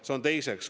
Seda siis teiseks.